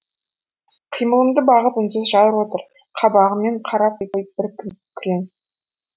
қимылымды бағып үнсіз жар отыр қабағымен қарап қойып бір күрең